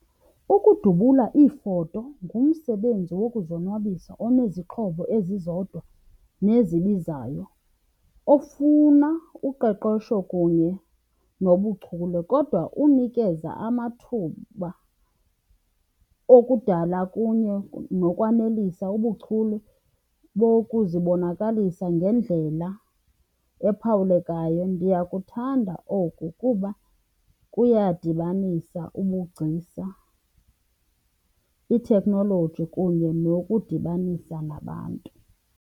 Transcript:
Ukudubula iifoto ngumsebenzi wokuzonwabisa onezixhobo ezizodwa nezibizayo ofuna uqeqesho kunye nobuchule kodwa unikeza amathuba okudala kunye nokwanelisa ubuchule bokuzibonakalisa ngendlela ephawulekayo. Ndiyakuthanda oku kuba kuyadibanisa ubugcisa, ithekhnoloji kunye nokudibanisa nabantu.